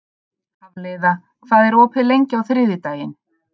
Hafliða, hvað er opið lengi á þriðjudaginn?